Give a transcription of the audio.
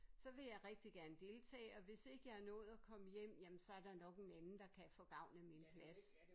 Så vil jeg rigtig gerne deltage og hvis ikke jeg er nået at komme hjem jamen så er der nok en anden der kan få gavn af min plads